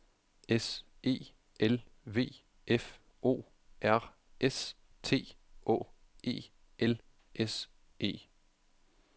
S E L V F O R S T Å E L S E